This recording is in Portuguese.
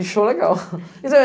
Inchou legal.